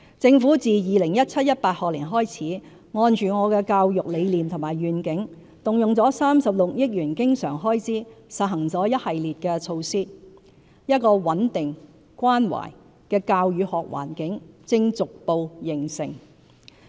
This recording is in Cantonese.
政府自 2017-2018 學年起，按着我的教育理念和願景，動用36億元經常開支實行了一系列措施，一個穩定、關懷的教與學環境正逐步形成。